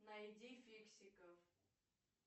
найди фиксиков